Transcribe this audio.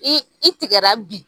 i tigɛra bi